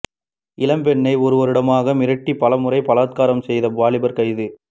இளம்பெண்ணை ஒரு வருடமாக மிரட்டி பலமுறை பலாத்காரம் செய்த வாலிபர் கைது